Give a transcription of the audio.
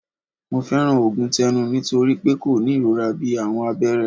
Mo fẹran oogun tẹnu nitori pe ko ni irora bii awọn abẹrẹ